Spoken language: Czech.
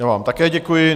Já vám také děkuji.